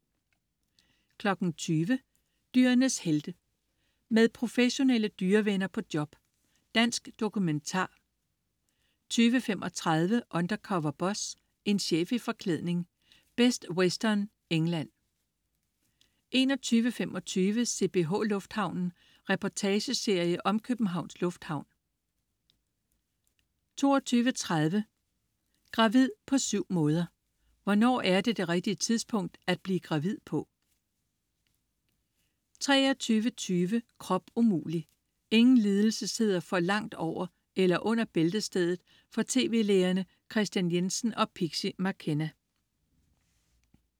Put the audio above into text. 20.00 Dyrenes helte. Med professionelle dyrevenner på job. Dansk dokumentar 20.35 Undercover Boss. En chef i forklædning. Best Western, England 21.25 CPH Lufthavnen. Reportageserie om Københavns Lufthavn 22.30 Gravid på syv måder. Hvornår er det det rigtige tidspunkt at blive gravid på? 23.20 Krop umulig! Ingen lidelser sidder for langt over eller under bæltestedet for tv-lægerne Christian Jessen og Pixie McKenna